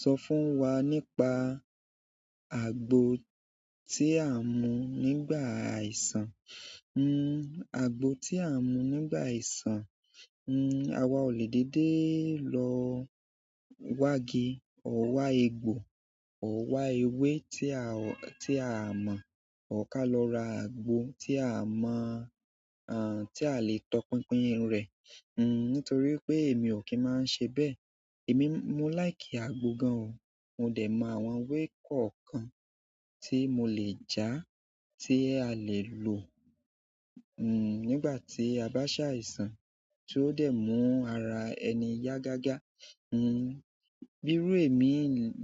Sọ fún wa nípa àgbo tí a mú nígbà aisán. Hmm àgbo tí à ń mú nígbà àìsàn, hmm àwa ò lè dédé lọ̀ wá or wá egbò or wá ewé tí a ò, tí a mọ̀, ò ká lọ ra àgbo tí a mọ̀, aah tí a lè tọpinpin irunre. Hmm nítorí pé èmi ò kí ń máa n se bẹ́ẹ̀. Èmi, mo láìkì àgbo gan o. Mo dè mọ àwọn ewé kọ̀ọ̀kan tí mo lè ja, tí a lè lò, hmm nígbà tí a bá ṣàìsàn, tí ó dé mú ara ẹni yá gágá. Hmm bíi irú èmi